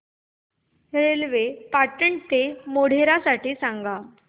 railway Patan ते मोढेरा साठी सांगा